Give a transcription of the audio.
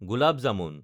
gulab jamun